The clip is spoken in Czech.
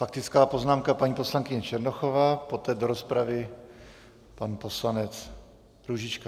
Faktická poznámka, paní poslankyně Černochová, poté do rozpravy pan poslanec Růžička.